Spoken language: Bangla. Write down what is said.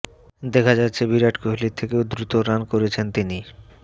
দেখা যাচ্ছে বিরাট কোহলির থেকেও দ্রুত রান করছেন তিনি